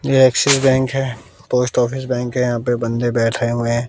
ये Axis bank है post office bank है यहां पे बंदे बैठे हुए हैं।